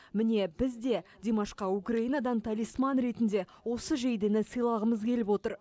міне біз де димашқа украинадан талисман ретінде осы жейдені сыйлағымыз келіп отыр